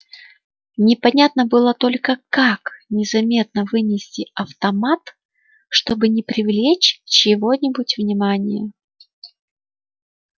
непонятно было только как незаметно вынести автомат чтобы не привлечь чьего-нибудь внимания